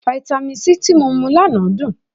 Fáítámì C tí mo mu lánàá dùn.